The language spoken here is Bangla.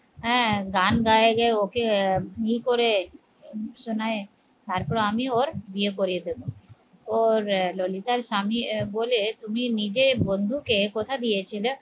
হ্যাঁ গান গাইলে ওকে ই করে শুনাই তারপর আমি ওর বিয়ে করিয়ে দেব ওর ললিতার স্বামী এ বলে তুমি নিজে বন্ধুকে কথা দিয়েছিল